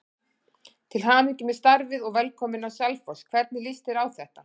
Til hamingju með starfið og velkominn á Selfoss, hvernig lýst þér á þetta?